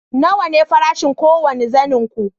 nawa ne farashin kowane zanen ku